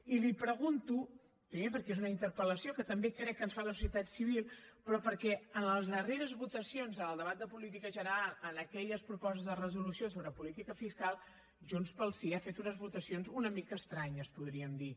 i li ho pregunto primer perquè és una interpel·lació que també crec que ens fa la societat civil però perquè en les darreres votacions en el debat de política general en aquelles propostes de resolució sobre política fiscal junts pel sí ha fet unes votacions una mica estranyes podríem dir